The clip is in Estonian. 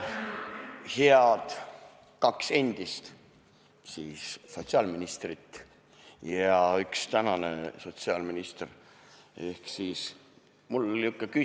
Head kaks endist sotsiaalministrit ja üks tänane sotsiaalminister!